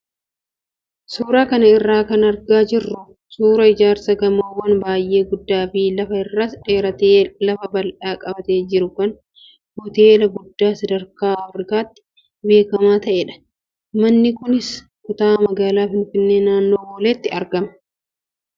Suuraa kana irraa kan argaa jirru suuraa ijaarsa gamoowwan baay'ee guddaa fi lafa irras dheeratee lafa bal'aa qabatee jiru kan hoteela guddaa sadarkaa Afrikaatti beekamaa ta'edha. Manni kunis kutaa magaalaa Finfinnee naannoo Booleetti argama.